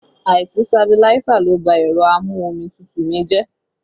Àìsí sabiláísà ló bá ẹ̀rọ a-mú-omi-tútù mi jẹ́